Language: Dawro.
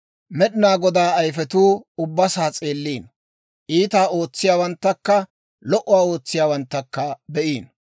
Med'inaa Godaa ayifetuu ubbasaa s'eelliino; iitaa ootsiyaawanttakka lo"uwaa ootsiyaawanttakka be'iino.